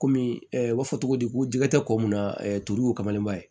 Komi u b'a fɔ cogo di ko jɛgɛ tɛ ko mun na turu y'o kamalenma ye